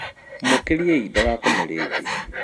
Mũkĩriei ndagakome rĩngĩ